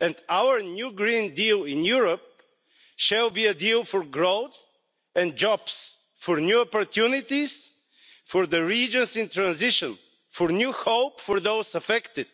And our new green deal in Europe shall be a deal for growth and jobs, for new opportunities, for the regions in transition, for new hope for those affected,